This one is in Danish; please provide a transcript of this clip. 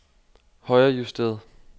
højrejusteret